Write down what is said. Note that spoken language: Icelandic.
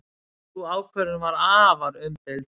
Sú ákvörðun var afar umdeild.